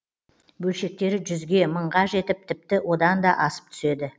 бөлшектері жүзге мыңға жетіп тіпті одан да асып түседі